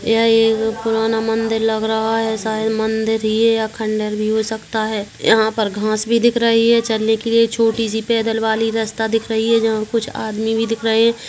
यह एक पुराना मंदिर लग रहा है शायद मंदिर ही है या खंडर भी हो सकता है यहाँ पर घास भी दिख रही है चलने के लिए छोटी सी पैदल वाली रस्ता दिख रही है जहां कुछ आदमी भी दिख रहे है।